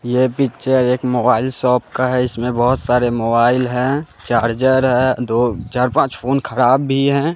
यह पिक्चर एक mobile shop का है इसमें बहोत सारे मोबाइल है चार्जर है दो चार पांच फोन खराब भी है।